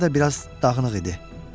Saçları da biraz dağınıq idi.